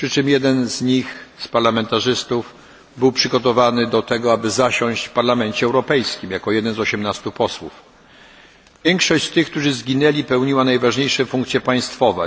Jeden z tych parlamentarzystów przygotowany był już na to, aby zasiąść w Parlamencie Europejskim, jako jeden z 18 posłów. Większość tych, którzy zginęli pełniła najważniejsze funkcje państwowe.